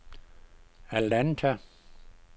Atlanta